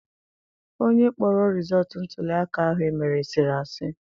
Onye kpọrọ rizọọtụ ntụliaka ahụ emere sịrị asị.